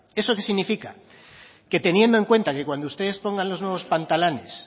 eso qué significa que teniendo en cuenta que cuando ustedes pongan los nuevos pantalanes